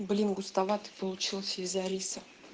блин густовато получилось из-за риса